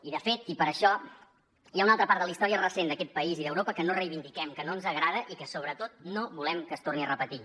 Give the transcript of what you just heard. i de fet i per això hi ha una altra part de la història recent d’aquest país i d’europa que no reivindiquem que no ens agrada i que sobretot no volem que es torni a repetir